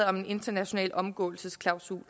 om en international omgåelsesklausul